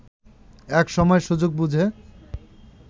এক সময় সুযোগ বুঝে